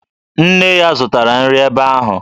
Nne ya zụtara nri ebe ahụ